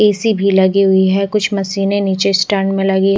ए_ C भी लगे हुए है कुछ मशीने निचे स्टैंड में लगी--